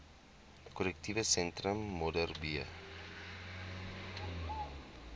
korrektiewe sentrum modderbee